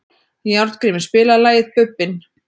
Járngrímur, spilaðu lagið „Bubbinn“.